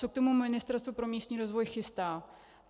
Co k tomu Ministerstvo pro místní rozvoj chystá?